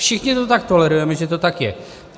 Všichni to tak tolerujeme, že to tak je.